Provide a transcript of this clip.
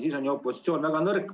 Siis on ju opositsioon väga nõrk.